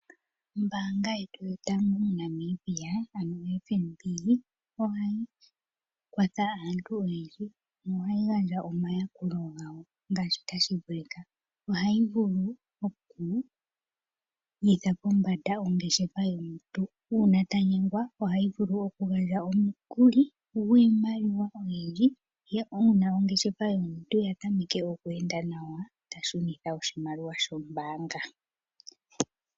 Ombaanga yetu yotango moNamibia ano FNB, ohayi kwatha aantu oyendji, na ohayi gandja omayakulo gawo ngaashi tashi vulika. Ohayi vulu oku gwitha pombanda ongeshefa yomuntu. Uuna ta nyengwa, ohayi vulu okugandja omukuli gwiimaliwa oyindji , nuuna ongeshefa ye ya tameke okweenda nawa , ta shunitha oshimaliwa shombaanga.